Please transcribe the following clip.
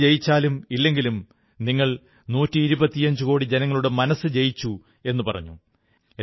കളി ജയിച്ചാലും ഇല്ലെങ്കിലും നിങ്ങൾ നൂറ്റിയിരുപത്തിയഞ്ചുകോടി ജനങ്ങളുടെ മനസ്സു ജയിച്ചു എന്നു പറഞ്ഞു